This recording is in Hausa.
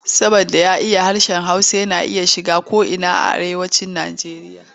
Saboda ya iya harshen Hausa yana iya shiga ko'ina a Arewacin Nijeriya.